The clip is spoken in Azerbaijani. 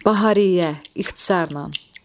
Bahariyyə, ixtisarla.